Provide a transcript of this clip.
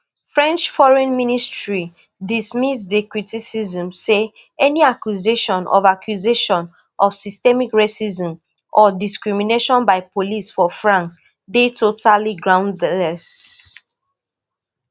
french foreign ministry dismiss di criticism say any accusation of accusation of systemic racism or discrimination by police for france dey totally groundless